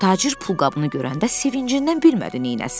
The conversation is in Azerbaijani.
Tacir pulqabını görəndə sevincindən bilmədi neynəsin.